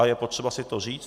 A je potřeba si to říct.